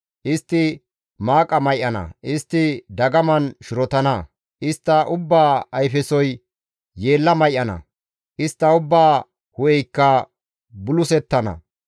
Istti maaqa may7ana; istti dagaman shirotana; istta ubbaa ayfesoy yeella may7ana; istta ubbaa hu7eykka bulisettana.